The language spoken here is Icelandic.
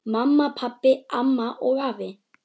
Mamma, pabbi, amma og afi.